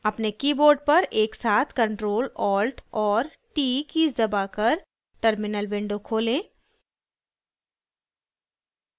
अपने keyboard पर एकसाथ ctrl + alt और t कीज़ दबाकर terminal window खोलें